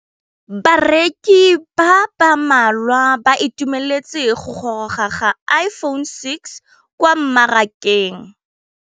Bareki ba ba malwa ba ituemeletse go gôrôga ga Iphone6 kwa mmarakeng.